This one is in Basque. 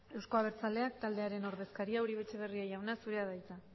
euzko abertzaleak taldearen ordezkaria uribe etxebarria jauna zura da hitza